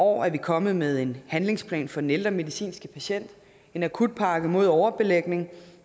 år er vi kommet med en handlingsplan for den ældre medicinske patient en akutpakke mod overbelægning